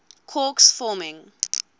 quarks forming